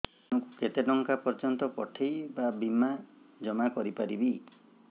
ମୁ ଦିନକୁ କେତେ ଟଙ୍କା ପର୍ଯ୍ୟନ୍ତ ପଠେଇ ବା ଜମା କରି ପାରିବି